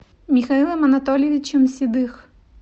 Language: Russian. михаилом анатольевичем седых